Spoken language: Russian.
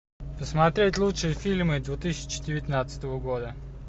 посмотреть лучшие фильмы две тысячи девятнадцатого года